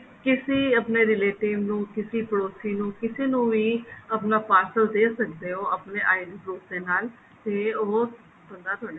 ਕਿਸੀ ਆਪਣੇ relative ਨੂੰ ਕਿਸੀ ਪੜੋਸੀ ਨੂੰ ਵੀ ਆਪਣਾ parcel ਦੇ ਸਕਦੇ ਹੋ ਆਪਣੀ ID proof ਦੇ ਨਾਲ ਤੇ ਉਹ ਬੰਦਾ ਤੁਹਾਡੇ ਕੋਲੋ